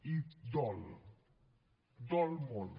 i dol dol molt